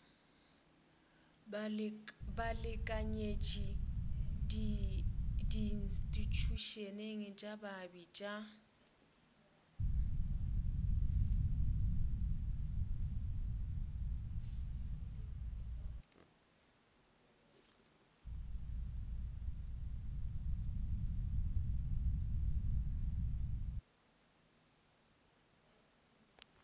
balekanyetši diinstithušeneng tša baabi tša